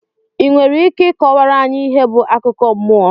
i nwere Ike ịkọwara anyị ihe bụ akụkọ mmụọ?